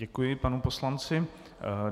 Děkuji panu poslanci.